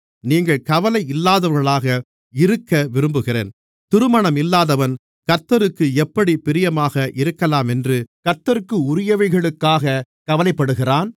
நீங்கள் கவலை இல்லாதவர்களாக இருக்கவிரும்புகிறேன் திருமணமில்லாதவன் கர்த்தருக்கு எப்படிப் பிரியமாக இருக்கலாமென்று கர்த்தருக்குரியவைகளுக்காகக் கவலைப்படுகிறான்